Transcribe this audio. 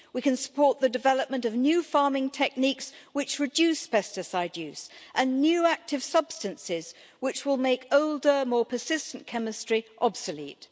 We can support the development of new farming techniques which reduce pesticide use, and new active substances which will make older, more persistent, chemistry obsolete.